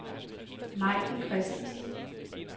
Maiken Christensen